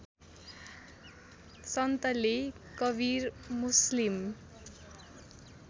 सन्तले Kabir Muslim